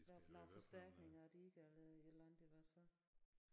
Lave lave forstærkninger og de ikke er lavet i hele landet i hvert fald